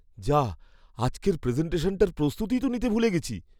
যাহ্! আজকের প্রেজেন্টেশানটার প্রস্তুতিই তো নিতে ভুলে গেছি!